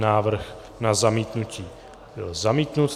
Návrh na zamítnutí byl zamítnut.